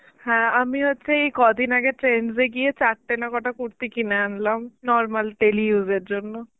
হ্যাঁ আমি হচ্ছে এই কদিন আগে trends এ গিয়ে চারটে না কটা কুর্তি কিনে আনলাম normal daily use এর জন্য.